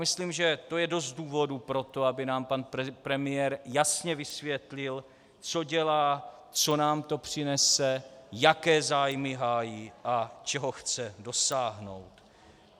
Myslím, že to je dost důvodů pro to, aby nám pan premiér jasně vysvětlil, co dělá, co nám to přinese, jaké zájmy hájí a čeho chce dosáhnout.